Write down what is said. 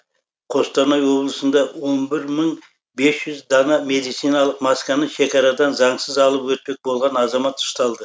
қостанай облысында он бір мың бес жүз дана медициналық масканы шекарадан заңсыз алып өтпек болған азамат ұсталды